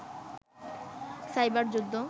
cyber যুদ্ধ